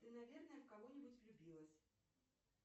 ты наверное в кого нибудь влюбилась